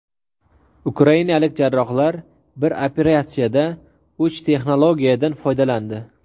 Ukrainalik jarrohlar bir operatsiyada uch texnologiyadan foydalandi.